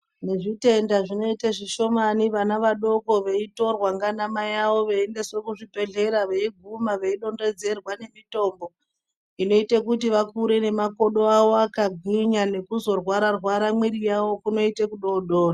Nezvitenda zvinoita zvishomani vana vodoko veitorwa ngana maivavo vayi endeswa kuzvi bhedhlera veiguma veidonhedzerwa nemitombo inota kuti vakure makodo avo vakagwinya nekuzorwara rwara miviri yavo kunoite kudodori.